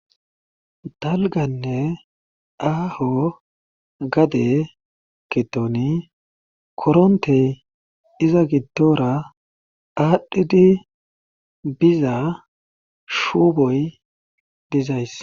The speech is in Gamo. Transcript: Dalgganne aaho gadee giddoni koronte iza giddora aadhidi biza shuboy dizayssi.